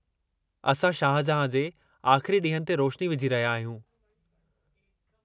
असां शाहजहाँ जे आख़िरी ॾींहनि ते रोशनी विझी रहिया आहियूं।